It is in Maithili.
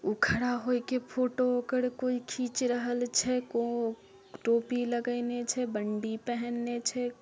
उ खड़ा होके फोटो ओकर कोई खींच रहल छे को टोपी लगैले छे बंडी पहेनले छे।